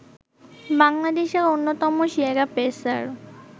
বাংলাদেশের অন্যতম সেরা পেসার